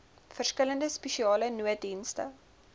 verskillende spesiale nooddienste